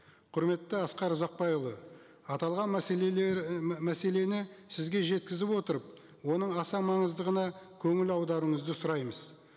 құрметті асқар ұзақбайұлы аталған мәселені сізге жеткізіп отырып оның аса маңыздығына көңіл аударуыңызды сұраймыз